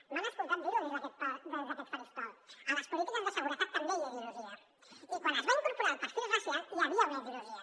m’han escol·tat dir·ho des d’aquest faristol a les polítiques de seguretat també hi ha ideologia i quan es va incorporar el perfil racial hi havia una ideologia